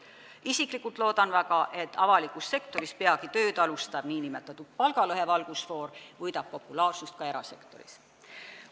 Isiklikult loodan väga, et avalikus sektoris peagi tööd alustav nn palgalõhe valgusfoor võidab populaarsust ka erasektoris.